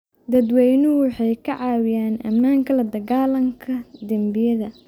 Dadweynuhu waxay ka caawiyaan ammaanka la dagaallanka dembiyada.